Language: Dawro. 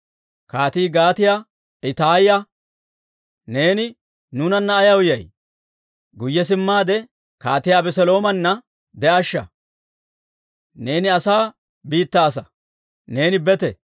Kaatii Gaatiyaa Ittaaya, «Neeni nuunanna ayaw yay? Guyye simmaade, kaatiyaa Abeseloomana de'ashsha. Neeni asaa biittaa asaa; neeni bete.